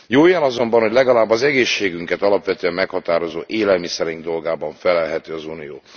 Jó jel azonban, hogy legalább az egészségünket alapvetően meghatározó élelmiszereink dolgában fellelhető az unió.